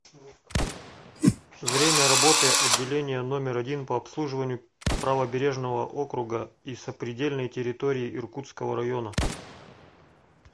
время работы отделение номер один по обслуживанию правобережного округа и сопредельной территории иркутского района